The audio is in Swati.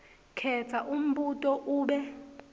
khetsa umbuto ube